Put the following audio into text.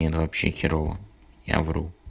не ну вообще херово я вру